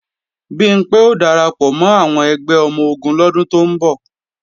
Bimpé ó darapọ̀ mọ́ àwọn ẹgbẹ́ ọmọ-ogun lọ́dún tó ń bọ̀